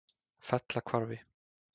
Fellahvarfi